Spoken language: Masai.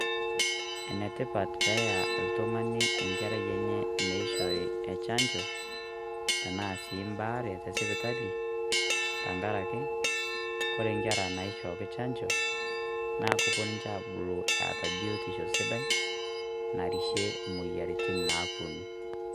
Enetipat peya oltung'ani enkerai enye meishori echancho tenaa si baare tesipitali, tankaraki kore nkera naishooki chanjo ,na kopuo ninche abulu eata biotisho sidai, narishie moyiaritin naaponu.